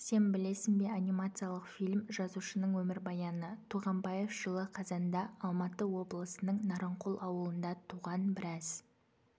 сен білесің бе анимациялық фильм жазушының өмірбаяны туғанбаев жылы қазанда алматы облысының нарынқол ауылында туған біраз